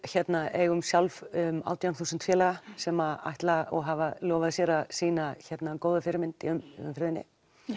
eigum sjálf átján þúsund félaga sem ætla og hafa lofað sér að sýna góða fyrirmynd í umferðinni